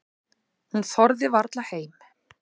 Hún þorði varla heim.